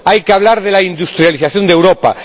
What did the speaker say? Hay que hablar de la industrialización de Europa.